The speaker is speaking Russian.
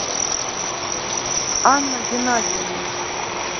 анна геннадьевна